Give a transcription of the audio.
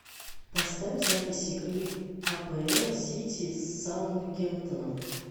поставь запись игры апл сити с саутгемптоном